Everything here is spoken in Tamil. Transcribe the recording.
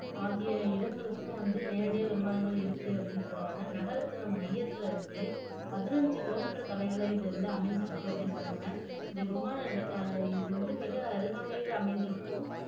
ஆகிய இடங்களுக்கும் வந்து நேரடியாக விமானங்கள் இருக்கு அப்படின்னு சொல்றாங்க நகரத்துல மையத்துல இருந்து பதினைந்து கிலோமீட்டர் தொலைவுல இது வந்து அமைந்திருக்கு அப்படின்னு சொல்றாங்க இந்த விமான இது வந்து மிக அருகாமையில் அமைந்திருக்கும்